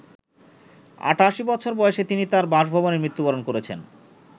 ৮৮ বছর বয়সে তিনি তাঁর বাসভবনে মৃত্যুবরণ করেছেন।